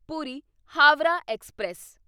Puri Howrah express